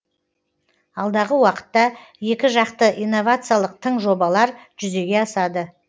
алдағы уақытта екіжақты инновациялық тың жобалар жүзеге асады